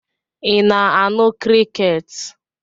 Ị na-anụ crickets?